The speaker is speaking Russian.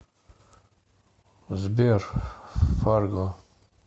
сбер фарго